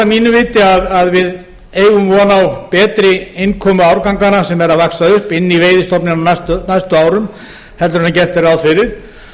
mínu viti að við eigum von á betri innkomu árganganna sem eru að vaxa upp inn í veiðistofnana á næstu árum en gert er ráð fyrir